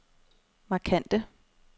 markante